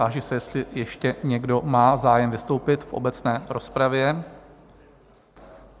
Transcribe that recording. Táži se, jestli ještě někdo má zájem vystoupit v obecné rozpravě?